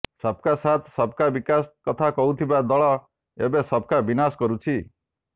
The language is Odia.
ସବକା ସାଥ ସବକା ବିକାଶ କଥା କହୁଥିବା ଦଳ ଏବେ ସବକା ବିନାଶ କରୁଛି